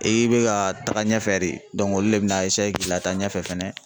I bɛ ka taga ɲɛfɛ de olu de bɛna k'i lata ɲɛfɛ fɛnɛ.